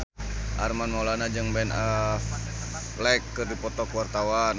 Armand Maulana jeung Ben Affleck keur dipoto ku wartawan